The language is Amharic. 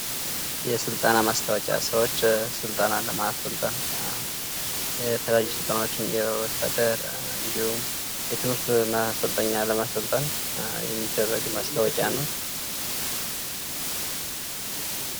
የስልጠና ማስታወቂያ ።ሰዎች ስልጠና ለማሰልጠን እና የተለያዩ ስልጠናዎችን የወታደር እንዲሁም የትምህርት ማሰልጠኛ ለማሰልጠን የሚደረግ ማስታወቂያ ነው።